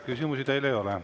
Küsimusi teile ei ole.